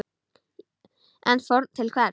En fórn til hvers?